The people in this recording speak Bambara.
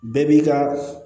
Bɛɛ b'i ka